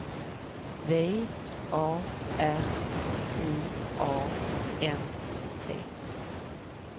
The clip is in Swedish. V A R I A N T